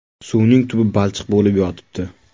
Suvning tubi balchiq bo‘lib yotibdi.